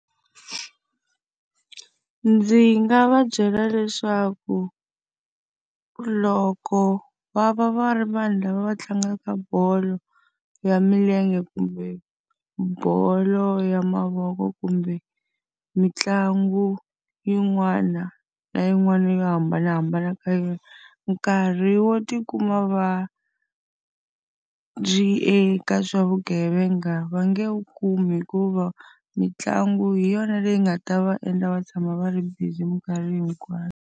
Ndzi nga va byela leswaku loko va va va ri vanhu lava va tlangaka bolo ya milenge kumbe bolo ya mavoko kumbe mitlangu yin'wana na yin'wana yo hambanahambana ka yona, nkarhi wo ti kuma va eka swa vugevenga va nge wu kumi hikuva mitlangu hi yona leyi nga ta va endla va tshama va ri busy minkarhi hinkwayo.